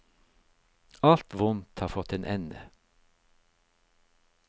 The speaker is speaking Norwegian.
Alt vondt har fått en ende.